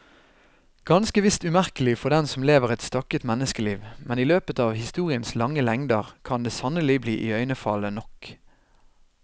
Ganske visst umerkelig for den som lever et stakket menneskeliv, men i løpet av historiens lange lengder kan det sannelig bli iøynefallende nok.